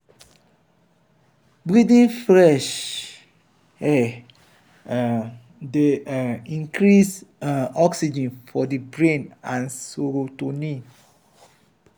breathing fresh air um dey um increase um oxygen for di brain and serotonin